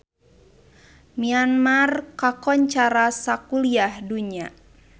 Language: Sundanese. Myanmar kakoncara sakuliah dunya